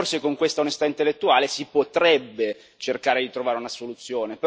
Forse con questa onestà intellettuale si potrebbe cercare di trovare una soluzione.